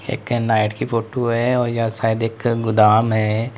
एक नाइट की फोटो है और यह शायद एक गोदाम है।